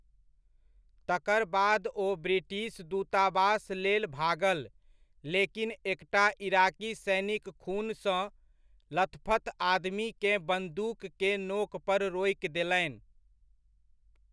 तकर बाद ओ ब्रिटिश दुतावास लेल भागल, लेकिन एकटा इराकी सैनिक खून सँ लथपथ आदमी केँ बन्दूक के नोक पर रोकि देलनि।